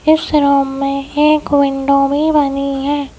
ईस room मे एक window भी बनी है।